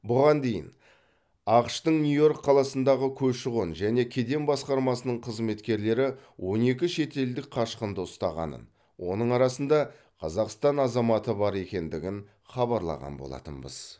бұған дейін ақш тың нью йорк қаласындағы көші қон және кеден басқармасының қызметкерлері он екі шетелдік қашқынды ұстағанын оның арасында қазақстан азаматы да бар екендігін хабарлаған болатынбыз